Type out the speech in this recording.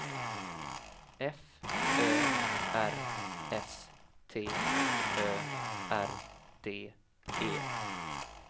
F Ö R S T Ö R D E